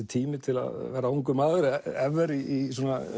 tími til að vera ungur maður ever í